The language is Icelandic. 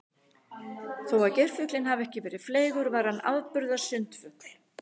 Þó að geirfuglinn hafi ekki verið fleygur var hann afburða sundfugl.